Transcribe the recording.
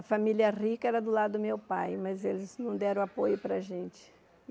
A família rica era do lado do meu pai, mas eles não deram apoio para a gente.